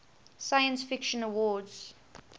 science fiction awards